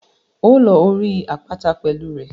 Óò lọ orí àpáta pẹ̀lú rẹ̀.